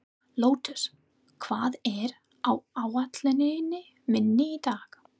Lótus, hvað er á áætluninni minni í dag?